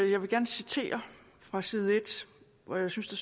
jeg gerne citere fra side en hvor jeg synes der